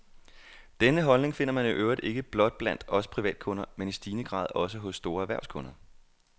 Denne holdning finder man i øvrigt ikke blot blandt os privatkunder, men i stigende grad også hos store erhvervskunder.